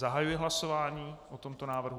Zahajuji hlasování o tomto návrhu.